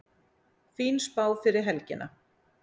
Fín spá fyrir helgina